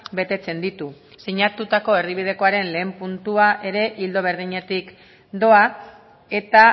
betetzen ditu sinatutako erdibidekoaren lehen puntua ere ildo berdinetik doa eta